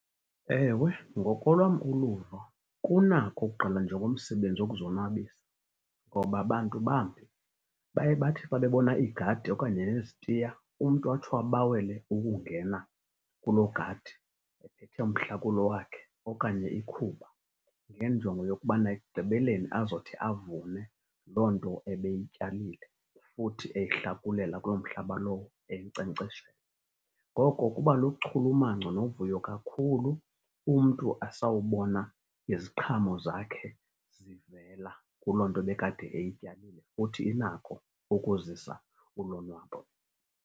Ewe, ngokolwam uluvo kunako ukugqalwa njengomsebenzi wokuzonwabisa. Ngoba bantu bambi baye bathi xa bebona iigadi okanye yezitiya umntu atsho abawele ukungena kuloo gadi ephethe umhlakulo wakhe okanye ikhuba ngenjongo yokubana ekugqibeleni azothi avune loo nto ebeyityalile futhi eyihlakulela kuloo mhlaba lowo, eyinkcenkceshela. Ngoko kuba luchulumanco novuyo kakhulu umntu asawubona iziqhamo zakhe zivela kuloo nto ebekade eyityalile, futhi inako ukuzisa ulonwabo.